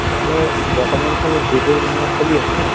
তেনেহʼলে বৰ্তমান সময় ত যিবোৰ মানে চলি আছে ন ?